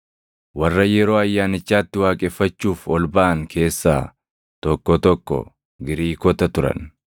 Warra yeroo Ayyaanichaatti waaqeffachuuf ol baʼan keessaa tokko tokko Giriikota turan.